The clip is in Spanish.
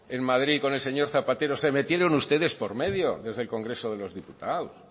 en madrid con el señor zapatero se metieron ustedes por medio desde el congreso de los diputados